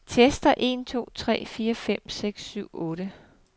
Tester en to tre fire fem seks syv otte.